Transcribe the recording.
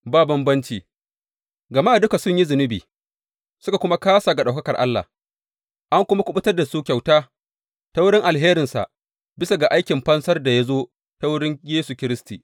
Ba bambanci, gama duka sun yi zunubi suka kuma kāsa ga ɗaukakar Allah, an kuma kuɓutar da su kyauta ta wurin alherinsa bisa ga aikin fansar da ya zo ta wurin Yesu Kiristi.